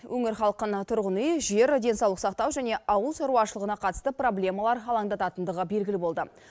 өңір халқын тұрғын үй жер денсаулық сақтау және ауыл шаруашылығына қатысты проблемалар алаңдататындығы белгілі болды